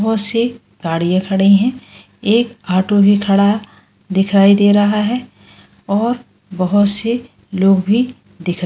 बहुत सी गाड़ियां खड़ी हैं एक ऑटो भी खड़ा दिखाई दे रहा है और बहुत से लोग भी दिख रहा --